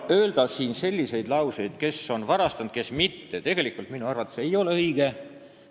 Öelda siin selliseid lauseid, kes on varastanud ja kes mitte, ei ole minu arvates õige.